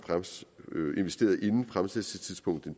investeret inden fremsættelsestidspunktet